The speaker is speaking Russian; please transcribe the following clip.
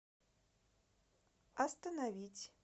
остановить